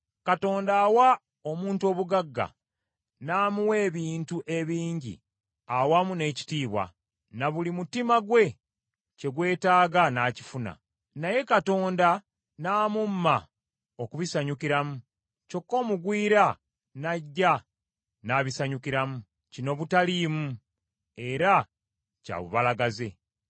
Katonda awa omuntu obugagga, n’amuwa ebintu ebingi awamu n’ekitiibwa, na buli mutima gwe kye gwetaaga n’akifuna; naye Katonda n’amumma okubisanyukiramu, kyokka omugwira n’ajja n’abisanyukiramu. Kino butaliimu era kya bubalagaze!